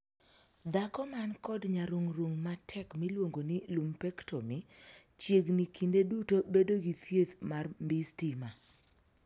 Dhako man kod nyarung'rung matek miluongo ni 'lumpectomy' chiegni kinde duto bedo gi thieth mar mbii stima.